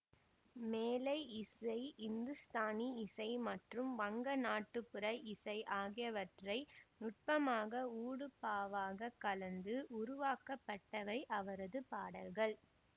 மேலை இசை இந்துஸ்தானி இசை மற்றும் வங்க நாட்டுப்புற இசை ஆகியவற்றை நுட்பமாக ஊடுபாவாகக் கலந்து உருவாக்கப்பட்டவை அவரது பாடல்கள்